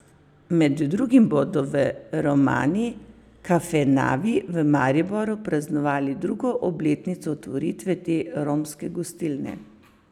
Med drugim bodo v Romani kafenavi v Mariboru praznovali drugo obletnico otvoritve te romske gostilne.